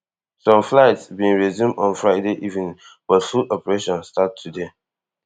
some flights bin resume on friday evening but full operation start today